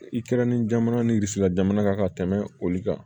I kɛrɛnin jamana ni sira jamana kan ka tɛmɛ olu kan